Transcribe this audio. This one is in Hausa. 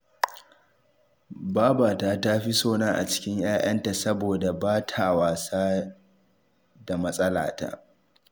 Babata ta fi sona a cikin ‘ya’yanta, saboda ba ta wasa da matsalata